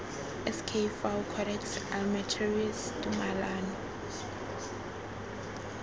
sk fao codex almentarius tumalano